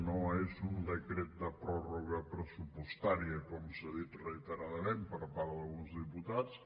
no és un decret de pròrroga pressupostària com s’ha dit reiteradament per part d’alguns diputats